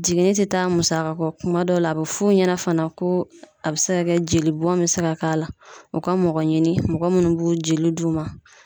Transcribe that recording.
Jiginni tetaa musaka kɔ. Kuma dɔ la a be f'u ɲɛna fana ko a be se ka kɛ jeli bɔn be se ka k'a la, u ka mɔgɔ ɲini mɔgɔ munnu b'o joli d'u ma.